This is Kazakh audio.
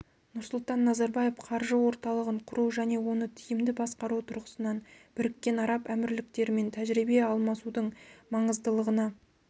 нұрсұлтан назарбаев қаржы орталығын құру және оны тиімді басқару тұрғысынан біріккен араб әмірліктерімен тәжірибе алмасудың маңыздылығына